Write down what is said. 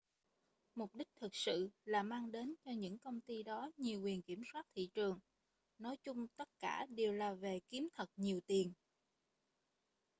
mục đích thực sự là mang đến cho những công ty đó nhiều quyền kiểm soát thị trường nói chung tất cả đều là về kiếm thật nhiều tiền